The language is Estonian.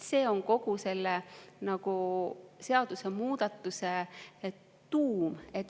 See on kogu selle seadusemuudatuse tuum.